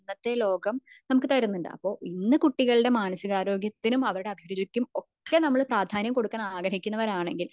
ഇന്നത്തെ ലോകം നമുക്ക് തരുന്നുണ്ട് അപ്പോ ഇന്ന് കുട്ടികളുടെ മാനസിക ആരോഗ്യത്തിനും അവരുടെ അഭിരുചിക്കും ഒക്കെ നമ്മൾ പ്രാധാന്യം കൊടുക്കാൻ ആഗ്രഹിക്കുന്നവർ ആണെങ്കിൽ